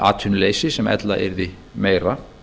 atvinnuleysi sem ella yrði meira